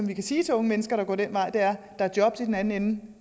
vi kan sige til unge mennesker der går den vej at der er jobs i den anden